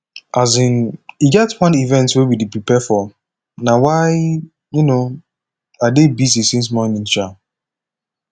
um e get one event wey we dey prepare for na why um i dey busy since morning um